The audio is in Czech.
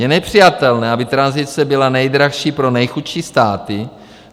Je nepřijatelné, aby tranzice byla nejdražší pro nejchudší státy.